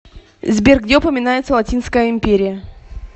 сбер где упоминается латинская империя